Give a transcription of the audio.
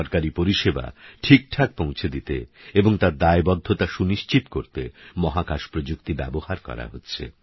সরকারিপরিষেবাঠিকঠাকপৌঁছেদিতেএবংতারদায়বদ্ধতাসুনিশ্চিতকরতেমহাকাশপ্রযুক্তিব্যবহারকরাহচ্ছে